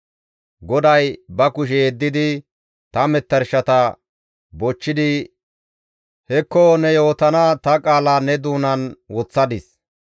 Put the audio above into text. GODAY ba kushe yeddidi ta metershata bochchidi, «Hekko ne yootana ta qaala ne doonan woththadis.